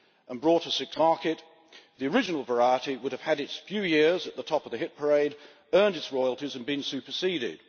and brought a successor variety to the market, the original variety would have had its few years at the top of the hit parade, earned its royalties and been superseded.